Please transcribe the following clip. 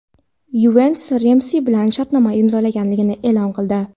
"Yuventus" Remsi bilan shartnoma imzolaganini eʼlon qildi.